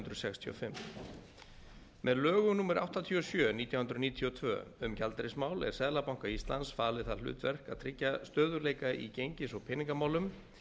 sextíu og fimm með lögum númer áttatíu og sjö nítján hundruð níutíu og tvö um gjaldeyrismál er seðlabanka íslands falið það hlutverk að tryggja stöðugleika í gengis og peningamálum